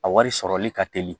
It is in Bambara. A wari sɔrɔli ka teli